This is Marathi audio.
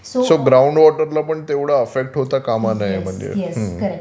सो ग्राउंड वॉटरला पण तेव्हढं अफेक्ट होता कामा नये